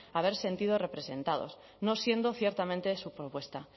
haber sentido representados no siendo ciertamente su propuesta